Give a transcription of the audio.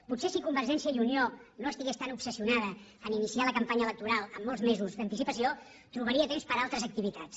potser si convergència i unió no estigués tan obsessionada a iniciar la campanya electoral amb molts mesos d’anticipació trobaria temps per a altres activitats